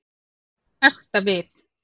Ekta við.